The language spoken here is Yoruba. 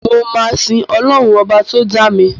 Mò máa sín ọlọ́run ọba tó dá mi.